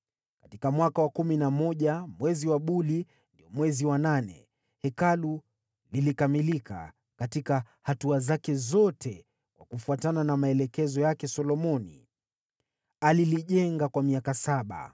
Katika mwaka wa kumi na moja, mwezi wa Buli, ndio mwezi wa nane, Hekalu lilikamilika katika hatua zake zote kwa kufuatana na maelekezo yake Solomoni. Alilijenga kwa miaka saba.